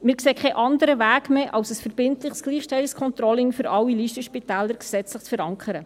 Wir sehen keinen anderen Weg mehr, als ein verbindliches Gleichstellungscontrolling für alle Listenspitäler gesetzlich zu verankern.